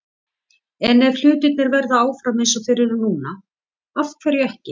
En ef hlutirnir verða áfram eins og þeir eru núna- af hverju ekki?